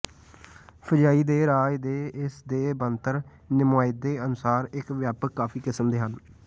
fungi ਦੇ ਰਾਜ ਦੇ ਇਸ ਦੇ ਬਣਤਰ ਨੁਮਾਇੰਦੇ ਅਨੁਸਾਰ ਇੱਕ ਵਿਆਪਕ ਕਾਫ਼ੀ ਕਿਸਮ ਦੇ ਹਨ